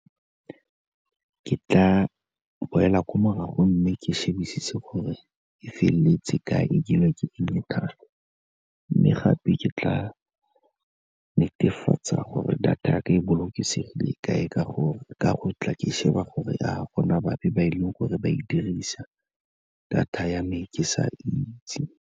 Ke tla boela ko morago, mme ke shebisise gore e feleletse ka e dirilwe ke tsenye thapo. Mme gape ke tla netefatsa gore data ya ka e bolokesegile ka e ka go tla ke sheba gore a gona bape ba e leng gore ba e dirisa, data ya me ke sa itse.